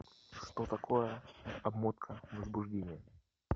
что такое обмотка возбуждения